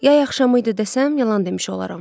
Yay axşamı idi desəm, yalan demiş olaram.